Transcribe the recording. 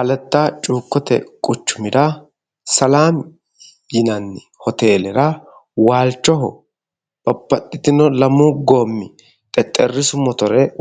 aletta cuukkote quchumira salaami yinanni hotelera waalchoho babbaxxino lamu goommi xexxerrisu